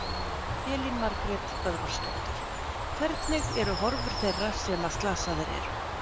Elín Margrét Böðvarsdóttir: Hvernig eru horfur þeirra sem að slasaðir eru?